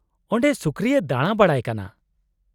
-ᱚᱸᱰᱮ ᱥᱩᱠᱨᱤᱭ ᱫᱟᱬᱟ ᱵᱟᱲᱟᱭ ᱠᱟᱱᱟ ᱾